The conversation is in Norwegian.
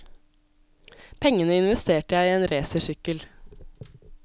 Pengene investerte jeg i en racersykkel.